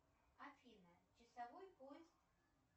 афина часовой пояс